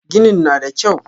Ginin na da kyau.